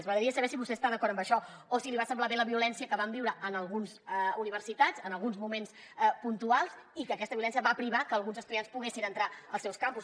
m’agradaria saber si vostè està d’acord amb això o si li va semblar bé la violència que vam viure en algunes universitats en alguns moments puntuals i que aquesta violència va privar que alguns estudiants poguessin entrar als seus campus